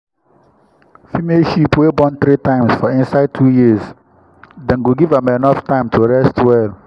female sheep wey born three times for inside two years dem go give am enough time to rest well.